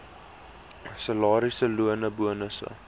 salarisse lone bonusse